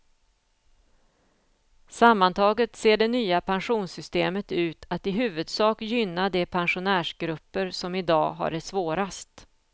Sammantaget ser det nya pensionssystemet ut att i huvudsak gynna de pensionärsgrupper som i dag har det svårast.